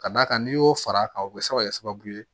Ka d'a kan n'i y'o fara a kan o bɛ se ka kɛ sababu ye